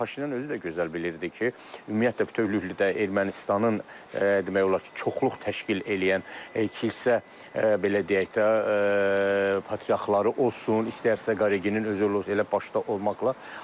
Paşinyan özü də gözəl bilirdi ki, ümumiyyətlə bütövlükdə Ermənistanın demək olar ki, çoxluq təşkil eləyən kilsə belə deyək də, patriarxları olsun, istər Kirgenin özü elə başda olmaqla.